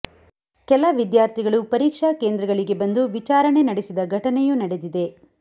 ಕೆಲ ವಿದ್ಯಾರ್ಥಿಗಳು ಪರೀಕ್ಷಾ ಕೇಂದ್ರಗಳಿಗೆ ಬಂದು ವಿಚಾರಣೆ ನಡೆಸಿದ ಘಟನೆಯೂ ನಡೆದಿದೆ